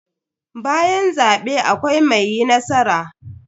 Bayan zabe akwai mai yi nasara.